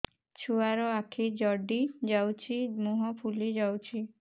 ଛୁଆର ଆଖି ଜଡ଼ି ଯାଉଛି ମୁହଁ ଫୁଲି ଯାଇଛି